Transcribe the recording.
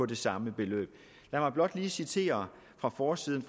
det samme beløb lad mig blot lige citere fra forsiden